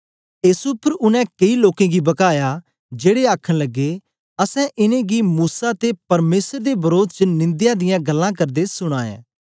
एस उपर उनै केई लोकें गी बकाया जेड़े आखन लगे असैं इनेंगी मूसा ते परमेसर दे वरोध च निंदया दियां गल्लां करदे सुना ऐ